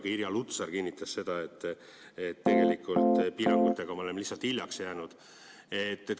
Ka Irja Lutsar kinnitas seda, et tegelikult me oleme piirangutega lihtsalt hiljaks jäänud.